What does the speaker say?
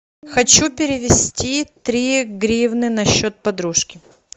хочу перевести три гривны на счет подружки